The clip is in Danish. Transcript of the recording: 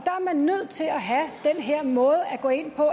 er man nødt til at have den her måde at gå ind på